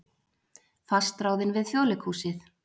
Fastráðin við Þjóðleikhúsið